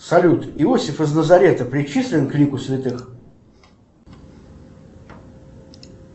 салют иосиф из лазарета причислен к лику святых